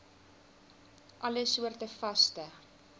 alle soorte vaste